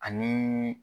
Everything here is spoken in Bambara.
Ani